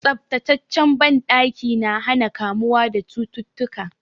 Tsaftataccen banɗaki na hana kamuwa da cututtuka.